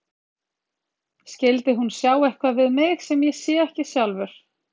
Skyldi hún sjá eitthvað við mig sem ég sé ekki sjálfur?